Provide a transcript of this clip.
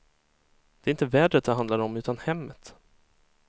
Det är inte vädret det handlar om utan hemmet.